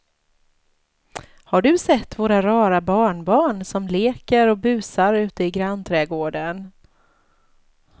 Har du sett våra rara barnbarn som leker och busar ute i grannträdgården!